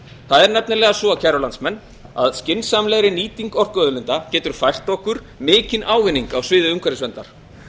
er nefnilega svo kæru landsmenn að skynsamlegri nýting orkuauðlinda getur fært okkur mikinn ávinning á sviði umhverfisverndar